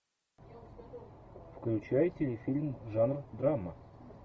включай телефильм жанр драма